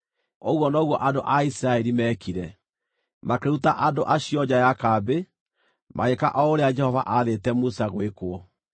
Ũguo noguo andũ a Isiraeli meekire; makĩruta andũ acio nja ya kambĩ. Magĩĩka o ũrĩa Jehova aathĩte Musa gwĩkwo.